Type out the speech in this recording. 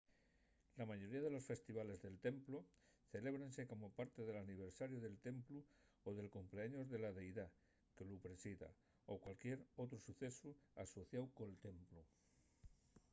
la mayoría de los festivales del templu celébrense como parte del aniversariu del templu o del cumpleaños de la deidá que lu presida o cualquier otru socesu asociáu col templu